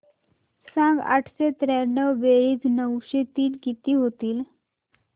सांग आठशे त्र्याण्णव बेरीज नऊशे तीन किती होईल